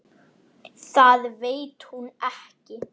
Það veit hún ekki.